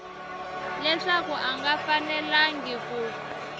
leswaku a nga fanelangi ku